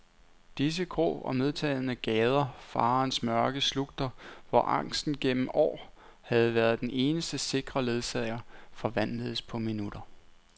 Disse grå, og medtagne gader, farens mørke slugter, hvor angsten gennem år havde været den eneste sikre ledsager, forvandledes på minutter.